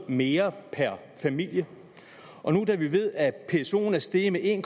mere per familie og nu da vi ved at psoen er steget med en